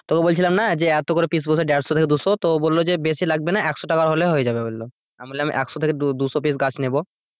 তোকে বলছিলাম না যে এত করে piece বলছে দেড়শো থেকে দুশো তো ও বলল যে বেশি লাগবে না একশো টাকার হলেই হয়ে যাবে বলল আমি বললাম একশো থেকে দুশ piece গাছ নেব।